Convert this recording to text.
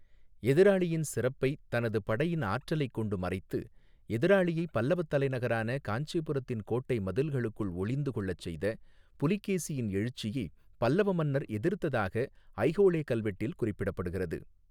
எதிராளியின் சிறப்பைத் 'தனது படையின் ஆற்றலைக் கொண்டு மறைத்து' எதிராளியைப் பல்லவத் தலைநகரான காஞ்சிபுரத்தின் கோட்டை மதில்களுக்குள் ஒளிந்து கொள்ளச் செய்த புலிகேசியின் எழுச்சியைப் பல்லவ மன்னர் எதிர்த்ததாக ஐஹோளெ கல்வெட்டில் குறிப்பிடப்படுகிறது.